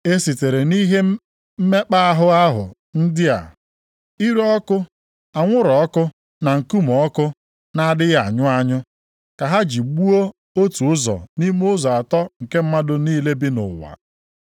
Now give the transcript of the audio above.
E sitere nʼihe mmekpa ahụ ndị a, ire ọkụ, anwụrụ ọkụ na nkume ọkụ na-adịghị anyụ anyụ, ka ha ji gbuo otu ụzọ nʼime ụzọ atọ nke mmadụ niile bi nʼụwa.